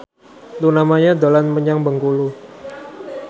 Luna Maya dolan menyang Bengkulu